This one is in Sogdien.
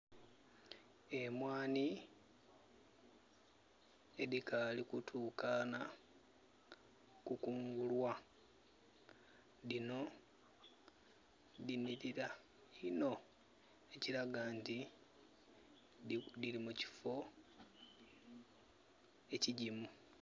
Emwanhi edhikali kutukana kukungulwa dhino dhinhirira inno ekilaga nti dhiri mu kiffo ekigimu.